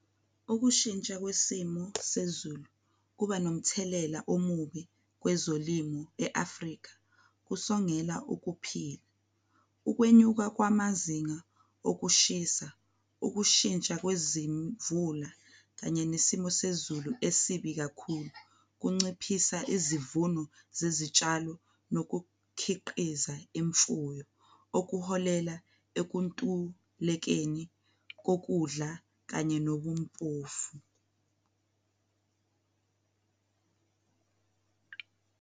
Ukushintsha kwesimo sezulu kuba nomthelela omubi kwezolimu e-Afrika, kusongela ukuphila, ukwenyuka kwamazinga okushisa, ukushintsha kwezimvula kanye nesimo sezulu esibi kakhulu kunciphisa izivuno zezitshalo nokukhiqiza imfuyo. Okuholela ekuntulekeni kokudla kanye nobumpofu.